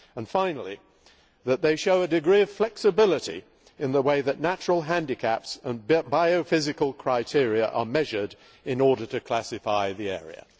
and, finally, that they show a degree of flexibility in the way that natural handicaps and biophysical criteria are measured in order to classify the area.